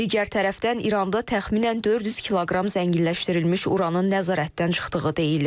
Digər tərəfdən İranda təxminən 400 kiloqram zənginləşdirilmiş uranın nəzarətdən çıxdığı deyilir.